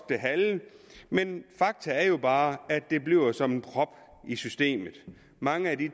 det halve men fakta er jo bare at det bliver som en prop i systemet mange af de